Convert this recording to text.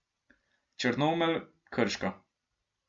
Črnomelj, Krško.